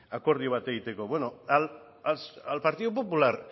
akordio bat egiteko bueno al partido popular